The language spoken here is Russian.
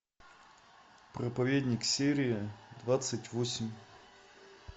проповедник серия двадцать восемь